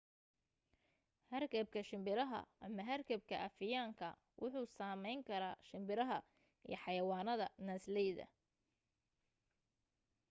hargabka shimbiraha ama hargabka afiyaan ka wuxuu sameyn kara shimbiraha iyo xayawanada naasleyda